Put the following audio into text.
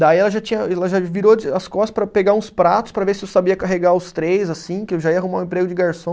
Daí ela já tinha, ela já virou de as costas para pegar uns pratos para ver se eu sabia carregar os três, assim, que eu já ia arrumar um emprego de garçom.